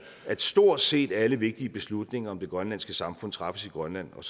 at stort set alle vigtige beslutninger om det grønlandske samfund træffes i grønland og